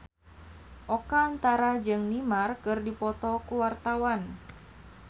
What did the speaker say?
Oka Antara jeung Neymar keur dipoto ku wartawan